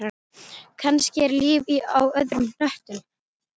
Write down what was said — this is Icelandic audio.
Kannski er líf á öðrum hnöttum.